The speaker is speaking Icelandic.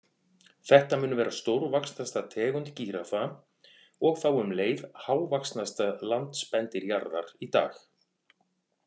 Þetta mun vera stórvaxnasta tegund gíraffa og þá um leið hávaxnasta landspendýr jarðar í dag.